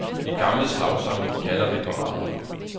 De gamle slagsange gjalder ved parader.